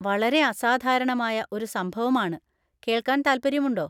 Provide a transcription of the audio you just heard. വളരെ അസാധാരണമായ ഒരു സംഭവമാണ്, കേൾക്കാൻ താൽപര്യമുണ്ടോ?